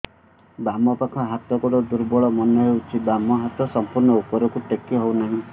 ବାମ ପାଖ ହାତ ଗୋଡ ଦୁର୍ବଳ ମନେ ହଉଛି ବାମ ହାତ ସମ୍ପୂର୍ଣ ଉପରକୁ ଟେକି ହଉ ନାହିଁ